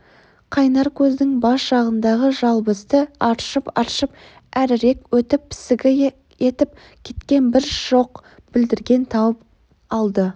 қайнар көздің бас жағындағы жалбызды аршып-аршып әрірек өтіп пісігі етіп кеткен бір шоқ бүлдірген тауып алды